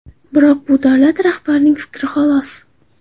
Biroq bu davlat rahbarining fikri xolos.